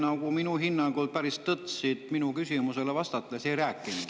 Te minu hinnangul nagu päris tõtt minu küsimusele vastates ei rääkinud.